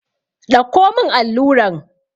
Ɗauko mun alluran!